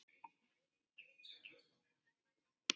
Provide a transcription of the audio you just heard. Svo er bréfið búið